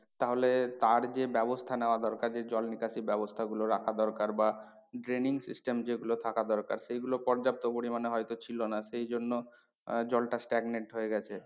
তাহলে তার যে ব্যবস্থা নেওয়া দরকার যে জল নিকাশি ব্যবস্থা গুলো রাখা দরকার বা denying system যেগুলো থাকা দরকার সেগুলো পর্যাপ্ত পরিমানে হয়তো ছিল না সেই জন্য আহ জলটা stagnant হয়ে গেছে।